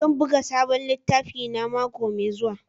Zan buga sabon littafina mako mai zuwa.